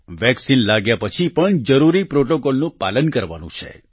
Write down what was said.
vaccine લાગ્યા પછી પણ જરૂરી પ્રોટોકોલનું પાલન કરવાનું છે